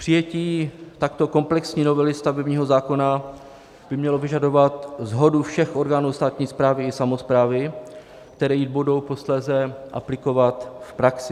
Přijetí takto komplexní novely stavebního zákona by mělo vyžadovat shodu všech orgánů státní správy i samosprávy, které ji budou posléze aplikovat v praxi.